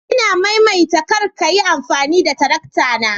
Ina maimaita kar ka Yi amfani da tarakta na